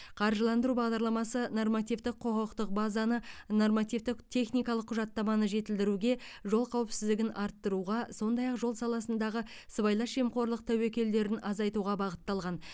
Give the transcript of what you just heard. қаржыландыру бағдарламасы нормативтік құқықтық базаны нормативтік техникалық құжаттаманы жетілдіруге жол қауіпсіздігін арттыруға сондай ақ жол саласындағы сыбайлас жемқорлық тәуекелдерін азайтуға бағытталған